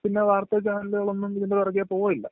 പിന്ന വാർത്താ ചാനലുകളൊന്നും ഇതിന്റെ പുറകെ പോകുവേമില്ല